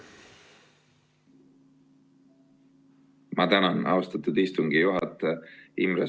Ma tänan, austatud istungi juhataja!